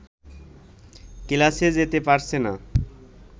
ক্লাসে যেতে পারছে না